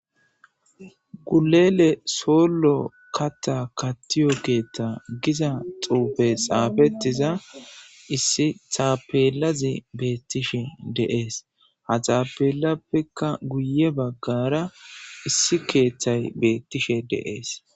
gulele sollo kata kattiyo keethta giza xuufe xaafetiza issi taapelazi beettishe deees ha xaapelappeka guye baggara issi keeththay beettishe deees